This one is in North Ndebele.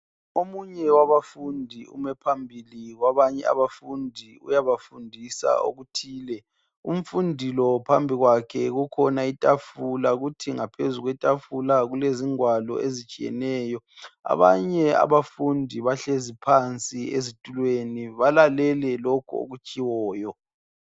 Omunye wabafundi ume phambili kwabanye abafundi uyabafundisa okuthile. Umfundi lo phambikwakhe kukhona ithafula ,kuthi ngaphezukwethafula kulezingwalo ezitshiyeneyo .Abanye abafundi bahlezi phansi ezithulweni balalele lokho okutshiwoyo.